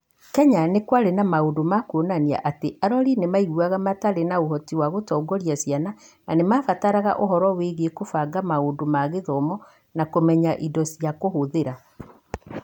Kenya, nĩ kwarĩ na maũndũ ma kuonania atĩ arori nĩ maiguaga matarĩ na ũhoti wa gũtongoria ciana na nĩ maabataraga ũtaaro wĩgiĩ kũbanga maũndũ ma gũthoma na kũmenya indo cia kũhũthĩra.